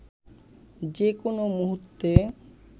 যে কোনও মুহূর্তে